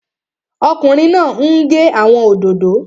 Ọkùnrin náà n gé àwọn òdòdó